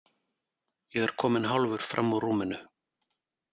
Ég er kominn hálfur fram úr rúminu.